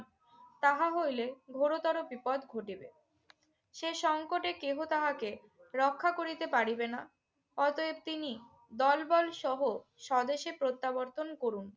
তাহা হইলে ঘোরতর বিপদ ঘটিবে। সে সঙ্কটে কেহ তাহাকে রক্ষা করিতে পারিবে না। অতএব তিনি দলবল সহ স্বদেশে প্রত্যাবর্তন করুন।